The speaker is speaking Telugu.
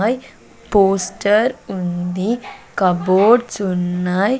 పై పోస్టర్ ఉంది కబోర్డ్స్ ఉన్నాయ్.